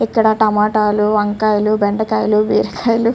ఇక్కడ టమాటాలు వంకాయలు బెండకాయలు బీర కాయలు --